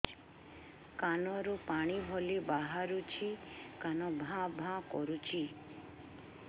କାନ ରୁ ପାଣି ଭଳି ବାହାରୁଛି କାନ ଭାଁ ଭାଁ କରୁଛି